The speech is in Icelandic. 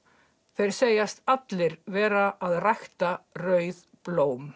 þeir segjast allir vera að rækta rauð blóm